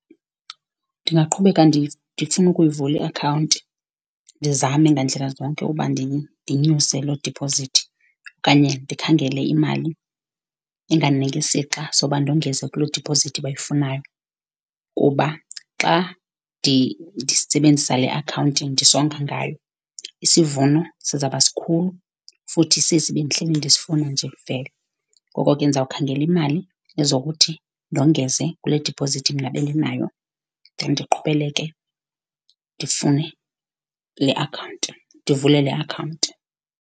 Ndingaqhubeka ndifune ukuyivula iakhawunti, ndizame ngandlela zonke uba ndinyuse loo diphozithi, okanye ndikhangele imali engandinika isixa soba ndongeze kuloo diphozithi bayifunayo. Kuba xa ndisebenzisa le akhawunti ndisonga ngayo, isivuno sizaba sikhulu futhi sesi bendihleli ndisifuna nje vele. Ngoko ke ndizawukhangela imali ezokuthi ndongeze kule diphozithi mna bendinayo then ndiqhubeleke ndifune le akhawunti, ndivule le akhawunti.